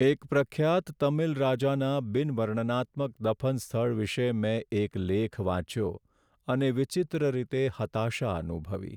એક પ્રખ્યાત તમિલ રાજાના બિન વર્ણનાત્મક દફન સ્થળ વિશે મેં એક લેખ વાંચ્યો અને વિચિત્ર રીતે હતાશા અનુભવી.